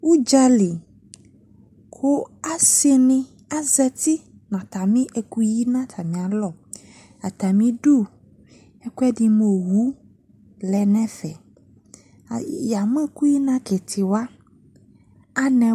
Udzali ko ase ne azati no atane akoyi no atane alɔ Atame du, ɛkwɛde mo owu lɛ no ɛfɛ Ai ya mo ɛkuyi na aketewa, anɛ